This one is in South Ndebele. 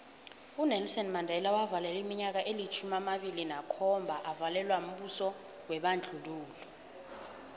unelson mandela wavalelwa iminyaka elitjhumi amabili nakhomba avalelwa mbuso webandlululo